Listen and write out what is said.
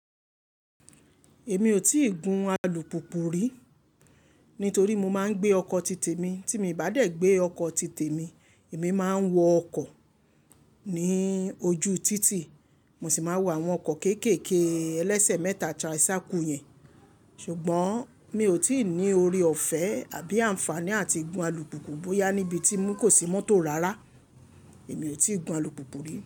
Èmi ò tíì gun alùpùpù rí, nítorí mo máa ń gbé ọkọ̀ títè mi. Tí mi i bá dé gbé ọkọ̀ títè mi, èmi máa ń wọ ọkọ̀ ní ojú títì, mo sì máa ń wọ àwọn ọkọ̀ kéékèèké ẹlẹ́sẹ̀ mẹ́ta tricycle yẹn. Ṣùgbọ́n mi ò tí ì ní oore-ọ̀fẹ́ àbí àǹfààní àti gun alùpùpù bóyá níbi tí mò ń kó sí mọ́tò rárá, èmi ò tí ì gun alùpùpù rí.